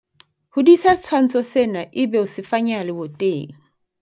hodisa setshwantsho sena ebe o se fanyeha leboteng